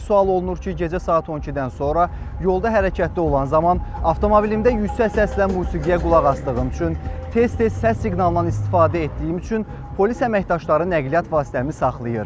Bəzən sual olunur ki, gecə saat 12-dən sonra yolda hərəkətdə olan zaman avtomobilimdə yüksək səslə musiqiyə qulaq asdığım üçün, tez-tez səs siqnalından istifadə etdiyim üçün polis əməkdaşları nəqliyyat vasitəmi saxlayır.